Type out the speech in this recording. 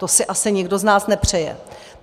To si asi nikdo z nás nepřeje.